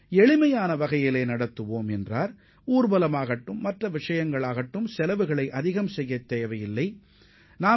திருமண வரவேற்பு அல்லது வேறு எந்தவொரு விஷயத்திற்காகவும் பெரும் தொகையை செலவு செய்யத் தேவையில்லை என்றும் அவர் கூறியுள்ளார்